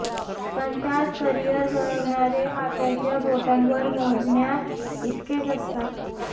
पण त्यात करिअर घडवणारे हाताच्या बोटांवर मोजण्या इतकेच असतात